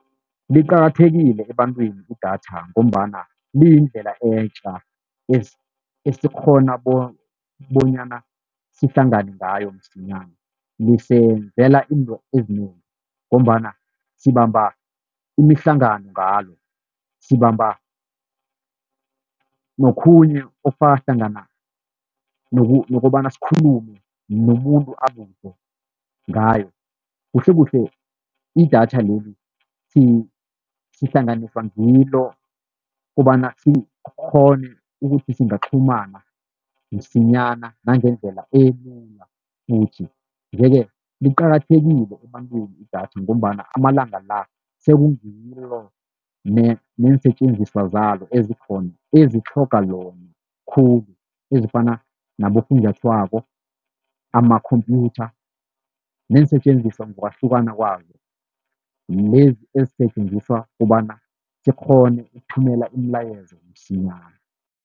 Liqakathekile ebantwini idatha, ngombana liyindlela etja esikghona bonyana sihlangane ngayo msinyana. Lisenzela into ezinengi ngombana sibamba imihlangano ngalo, sibamba nokhunye okufaka hlangana nokobana sikhulume nomuntu akude ngayo. Kuhlekuhle idatha leli sihlanganiswa ngilo kobana, sikghone ukuthi singaqhumana msinyana nangendlela elula futhi. Nje-ke liqakathekile ebantwini idatha, ngombana amalanga la sekungilo neensetjenziswa zalo ezikhona ezitlhoga lona khulu ezifana nabofunjathwako, amakhompyutha neensetjenziswa ngokwahlukana kwazo, lezi ezisetjenziswa kobana sikghone ukuthumela imilayezo msinyana.